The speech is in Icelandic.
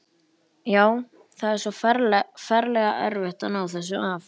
Já, það er svo ferlega erfitt að ná þessu af.